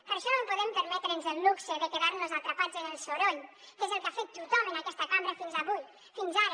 per això no podem permetre’ns el luxe de quedar nos atrapats en el soroll que és el que ha fet tothom en aquesta cambra fins avui fins ara